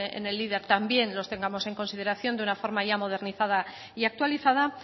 en el también los tengamos en consideración de una forma ya modernizada y actualizada